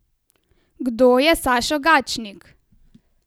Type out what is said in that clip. Kdo je Sašo Gačnik?